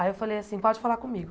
Aí eu falei assim, pode falar comigo.